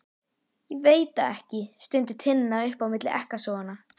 Ég veit það ekki, stundi Tinna upp á milli ekkasoganna.